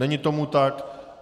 Není tomu tak.